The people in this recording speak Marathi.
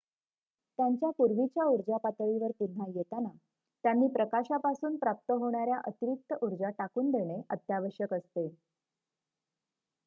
त्यांच्या पूर्वीच्या ऊर्जा पातळीवर पुन्हा येताना त्यांनी प्रकाशापासून प्राप्त होणार्‍या अतिरिक्त ऊर्जा टाकून देणे अत्यावश्यक असते